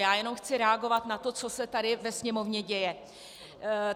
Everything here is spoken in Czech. Já jenom chci reagovat na to, co se tady ve Sněmovně děje.